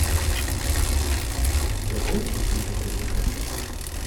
у тебя будет последний бронепоезд